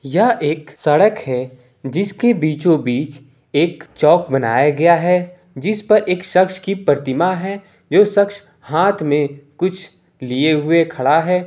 यह एक सड़क है जिसके बीचो-बीच एक चौक बनाया गया है जिसपे एक शख्स के प्रतिमा है जो शख्स हाथ में कुछ लिए हुए खड़ा है।